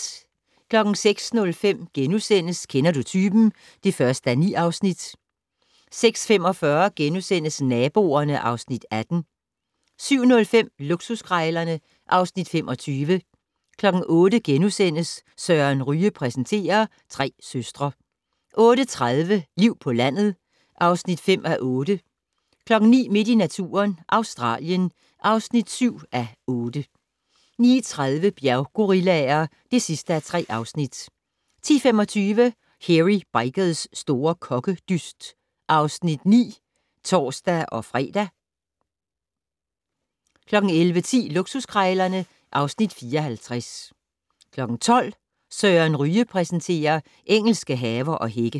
06:05: Kender du typen? (1:9)* 06:45: Naboerne (Afs. 18)* 07:05: Luksuskrejlerne (Afs. 25) 08:00: Søren Ryge præsenterer: Tre søstre * 08:30: Liv på landet (5:8) 09:00: Midt i naturen - Australien (7:8) 09:30: Bjerggorillaer (3:3) 10:25: Hairy Bikers' store kokkedyst (Afs. 9)(tor-fre) 11:10: Luksuskrejlerne (Afs. 54) 12:00: Søren Ryge præsenterer: Engelske haver og hække